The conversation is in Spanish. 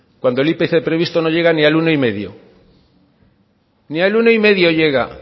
cuando el ipc previsto no llega ni al uno y medio ni al uno y medio llega